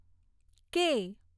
કે